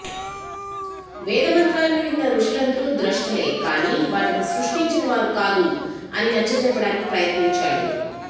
వేదమంత్రాలను విన్న ఋషులందరూ ద్రష్టలే కానీ వాటిని సష్టించిన వారు కాదు అని నచ్చచెప్పడానికి ప్రయత్నించాడు